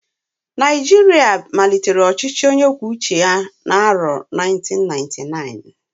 Naijiria malitere ọchịchị onye kwuo uche ya n'arọ 1999